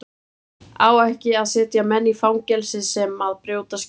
Á ekki að setja menn í fangelsi sem að brjóta skilorð?